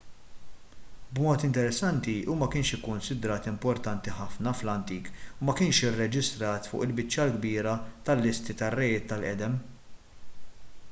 b'mod interessanti hu ma kienx ikkunsidrat importanti ħafna fl-antik u ma kienx irreġistrat fuq il-biċċa l-kbira tal-listi tar-rejiet tal-qedem